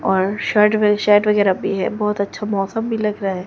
और shirt shirt वगैरा भी है बहोत अच्छा मौसम भी लग रहा हैं।